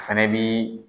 A fɛnɛ bi